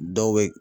Dɔw bɛ